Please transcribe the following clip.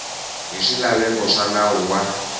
hi swilaveko swa nawu wa